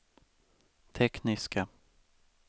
tekniska